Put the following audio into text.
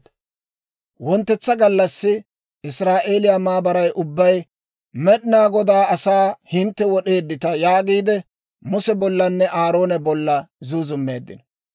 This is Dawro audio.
Wonttetsa gallassi Israa'eeliyaa maabaray ubbay, «Med'inaa Godaa asaa hintte wod'eeddita» yaagiide, Muse bollanne Aaroona bolla zuuzummeeddino.